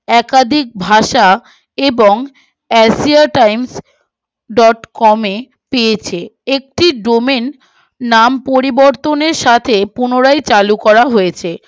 একাধিক ভাষা এবং asia times ডট কমে পেয়েছে একটি domain নাম পরিবর্তনের সাথে পুনরায় চালু করা হয়েছে তার সম্পর্কে